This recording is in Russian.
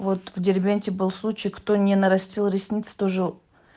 вот в дербенте был случай кто не нарастил ресницы тоже